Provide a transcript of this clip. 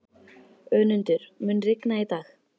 Önundur, mun rigna í dag?